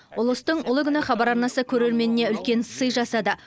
ұлыстың ұлы күні хабар арнасы көрерменіне үлкен сый жасады